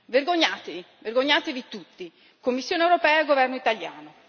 Vergognatevi, vergognatevi tutti, Commissione europea e governo italiano!